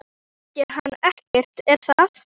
Þú þekkir hann ekkert, er það?